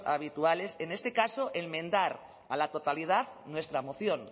habituales en este caso enmendar a la totalidad nuestra moción